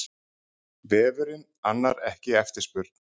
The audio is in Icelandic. Vefurinn annar ekki eftirspurn